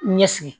Ɲɛsi